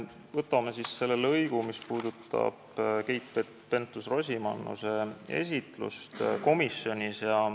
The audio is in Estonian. Võtame selle lõigu, mis puudutab Keit Pentus-Rosimannuse esitlust komisjonis.